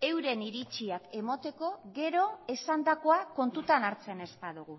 euren iritziak emateko gero esandakoa kontutan hartzen ez badugu